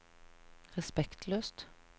respektløst